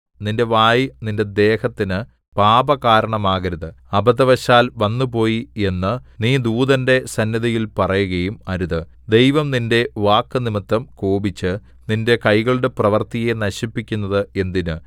നിന്റെ വായ് നിന്റെ ദേഹത്തിന് പാപകാരണമാകരുത് അബദ്ധവശാൽ വന്നുപോയി എന്ന് നീ ദൂതന്റെ സന്നിധിയിൽ പറയുകയും അരുത് ദൈവം നിന്റെ വാക്കുനിമിത്തം കോപിച്ച് നിന്റെ കൈകളുടെ പ്രവൃത്തിയെ നശിപ്പിക്കുന്നത് എന്തിന്